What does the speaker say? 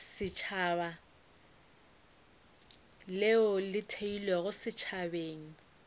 setšhaba leo le theilwego setšhabeng